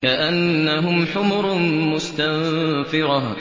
كَأَنَّهُمْ حُمُرٌ مُّسْتَنفِرَةٌ